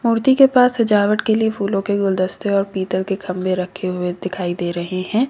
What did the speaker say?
मूर्ति के पास सजावट के लिए फूलों के गुलदस्ते और पीतल के गमले रखे हुए दिखाई दे रहे हैं।